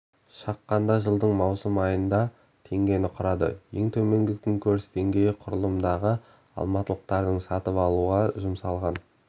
шаққанда жылдың маусым айында теңгені құрады ең төменгі күнкөріс деңгейі құрылымындағы алматылықтардың сатып алуға жұмсалған